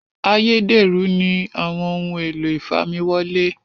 Ayédèrú ni àwọn ohun èlò ìfamiwọlẹ́